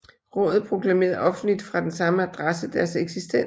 Rådet proklamerede offentligt fra den samme adresse deres eksistens